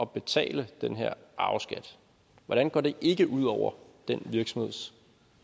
betale den her arveskat hvordan går det ikke ud over den virksomheds